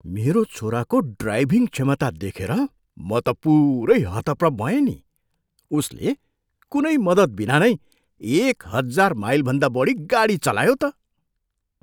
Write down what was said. मेरो छोराको ड्राइभिङ क्षमता देखेर म त पुरै हतप्रभ भएँ नि! उसले कुनै मद्दतबिना नै एक हजार माइलभन्दा बढी गाडी चलायो त!